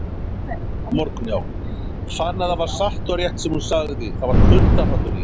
Fann að það var satt og rétt sem hún sagði, það var kuldahrollur í henni.